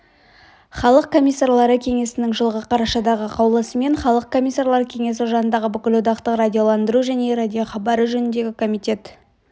халық комиссарлары кеңесінің жылғы қарашадағы қаулысымен халық комиссарлар кеңесі жанындағы бүкілодақтық радиоландыру және радиохабары жөніндегі комитет